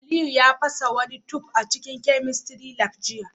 Aliyu ya fasa wani tube a cikin chemistry lab jiya